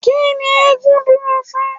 Kí ni eégún dúró fún?